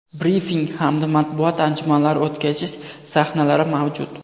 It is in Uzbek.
brifing hamda matbuot anjumanlari o‘tkazish sahnalari mavjud.